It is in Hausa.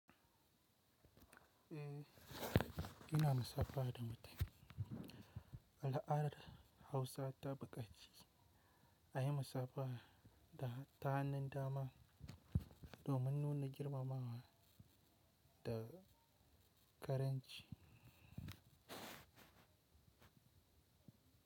Eh, ina massafa da matafiyi Al'adar Hausa ta buƙaci, ayi musafaha ta hannun dama domin nuna girmamawa da ƙaramci.